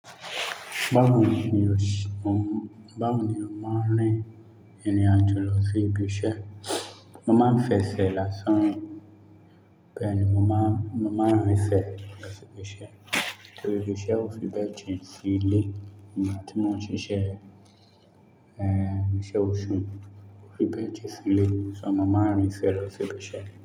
Báwo ni o ṣi, Báwo ni o ma rin ìrìn àjò lọ sí ibi iṣẹ́? Moma ń fẹsẹ̀ lásán rin bẹ̀èni mo man, moma ń rìn ẹsẹ̀ lọ sí ibi iṣẹ́. Torí iṣẹ́ ò fi bẹ́ẹ̀ jín sílé nìgbà tí mọ́n ṣe iṣẹ́, ẹ́, iṣẹ́ oṣù, kò fi bẹ́ẹ̀ ti sílé. Ṣé mama ń rìn ẹsẹ̀ lọ sí ibi iṣẹ́?